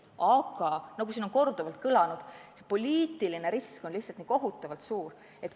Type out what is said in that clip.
Aga nagu siin on korduvalt kõlanud, poliitiline risk on lihtsalt nii kohutavalt suur.